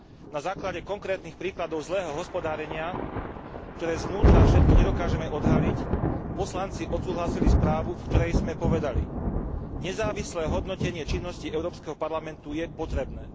Na základe konkrétnych príkladov zlého hospodárenia, ktoré zvnútra všetky nedokážeme odhaliť, poslanci odsúhlasili správu, v ktorej sme povedali nezávislé hodnotenie činností Európskeho parlamentu je potrebné.